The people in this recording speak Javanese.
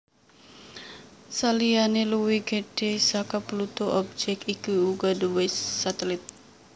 Saliyané luwih gedhé saka Pluto objèk iki uga nduwé satelit